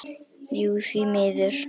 Jú því miður.